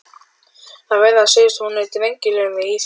Það verður að segjast að hún er drengilegri íþrótt.